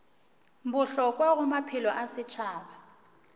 bohlokwa go maphelo a setšhaba